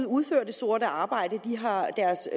udfører sort arbejde har deres